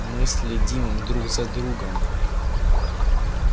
мы следим друг за другом